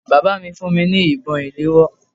Bàbá mi fún mi ní ìbọn ìléwọ́